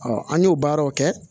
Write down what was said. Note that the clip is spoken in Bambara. an y'o baaraw kɛ